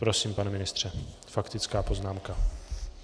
Prosím, pane ministře, faktická poznámka.